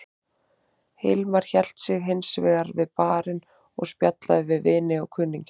Hilmar hélt sig hins vegar við barinn og spjallaði við vini og kunningja.